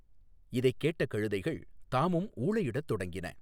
இதைக் கேட்ட கழுதைகள் தாமும் ஊளையிடத் தொடங்கின.